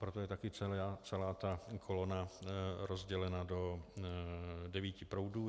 Proto je také celá ta kolona rozdělena do devíti proudů.